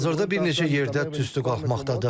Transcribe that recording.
Hazırda bir neçə yerdə tüstü qalxmaqdadır.